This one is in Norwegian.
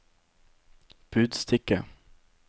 budstikke